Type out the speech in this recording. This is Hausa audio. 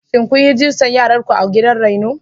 Shin kun yi rijistar yaranku a gidan raino?